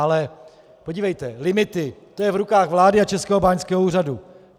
Ale podívejte, limity, to je v rukách vlády a Českého báňského úřadu.